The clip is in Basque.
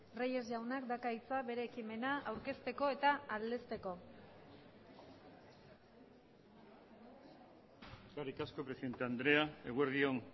reyes jaunak dauka hitza bere ekimena aurkezteko eta aldezteko eskerrik asko presidente andrea eguerdi on